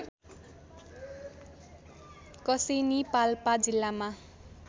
कसेनी पाल्पा जिल्लामा